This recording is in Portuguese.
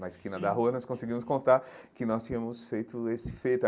Na esquina da rua, nós conseguimos contar que nós tínhamos feito esse feito.